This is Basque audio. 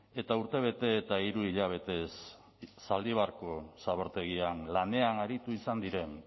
eta urtebete eta hiru hilabetez zaldibarko zabortegian lanean aritu izan diren